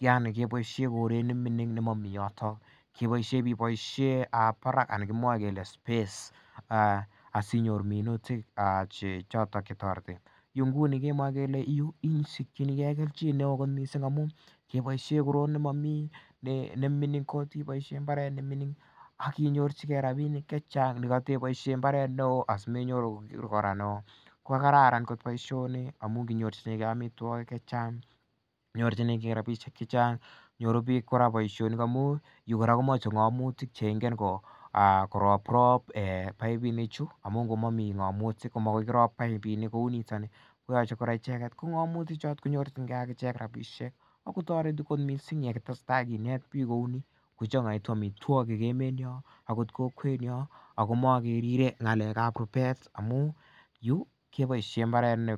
yaani keboisien koret neming'in nemamiten yoto kebaisien iboisien barak anan kemwa kele space asinyorchike choton chetoreti inguni kemwae kele isikchinige kelchin neoo kot missing amuun kebaisien mbarenik ne ming'in kot. Akinyor chike rabinik chechang asianyor mbarenik neoo. Kararan kot baisyoni amuun kenyorchinege amituakik chechang, inyorchikee rabisiek chechang nyoru bik baisionik amuun yu komache ng'amotik cheingen korobrob paipinik chu amuun ngomami ng'amotik komakirib paipinik kou niton koyache icheget kip ng'amotik kotareti missing yekeitestai kinet bik kouni kochang'aitu amituakik emet nyon akot kokwet nyon akomagerire ng'alekab rubet amuun yu kebaisien imbaret.